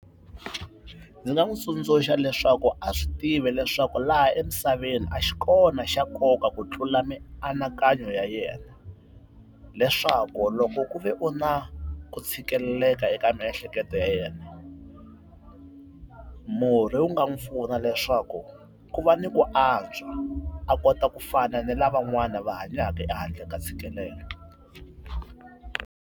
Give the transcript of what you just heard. Ndzi nga n'wi tsundzuxa leswaku a swi tivi leswaku laha emisaveni a xi kona xa nkoka ku tlula mianakanyo ya yena, leswaku loko ku ve u na ku tshikeleleka eka miehleketo ya yena, murhi u nga n'wi pfuna leswaku ku va ni ku antswa a kota ku fana ni lavan'wana va hanyaka ehandle ka ntshikelelo.